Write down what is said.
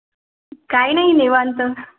काय नाही निवांत.